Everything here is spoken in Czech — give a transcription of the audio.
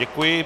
Děkuji.